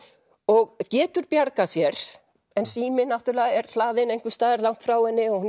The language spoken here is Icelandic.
og getur bjargað sér en síminn náttúrulega er hlaðinn einhvers staðar langt frá henni og hún